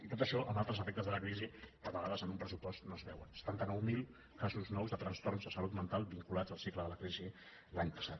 i tot això amb altres efectes de la crisi que a vegades en un pressupost no es veuen setanta nou mil casos nous de trastorns de salut mental vinculats al cicle de la crisi l’any passat